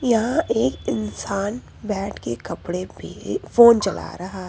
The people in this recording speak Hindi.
यहां एक इंसान बैठ के कपड़े पे फोन चला रहा है।